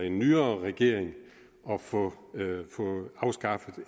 en nyere regering at få den afskaffet